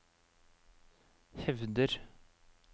hevder